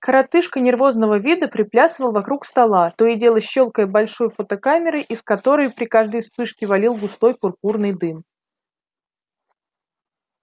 коротышка нервозного вида приплясывал вокруг стола то и дело щёлкая большой фотокамерой из которой при каждой вспышке валил густой пурпурный дым